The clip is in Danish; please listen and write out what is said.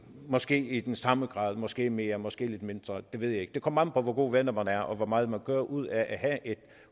måske i den samme grad måske mere måske lidt mindre det ved jeg ikke det kommer an på hvor gode venner man er og hvor meget man gør ud at have et